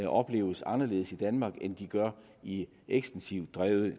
opleves anderledes i danmark end de gør i ekstensivt drevne